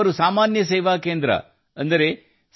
ಅವರು ಸಾಮಾನ್ಯ ಸೇವಾ ಕೇಂದ್ರ ಅಂದರೆ ಸಿ